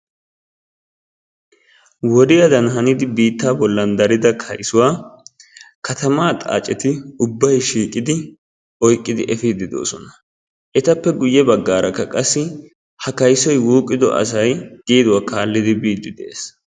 Wodiyaadan hanidi biitta bollan darida kaysuwa katamaa xaaceti ubbay shiiqidi oyqqidi efiidi de'oosona. Etappe guye baggaarakka qassi ha kaysoy wuuqqido asay geeduwa kaallidi biiddi de'ees.